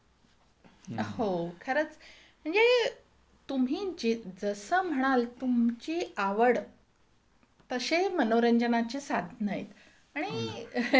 हो, खरंच म्हणजे तुम्ही जसं म्हणाल तुमची आवड, तसे मनोरंजनाचे साधनं आहेत आणि आहे कि नाही?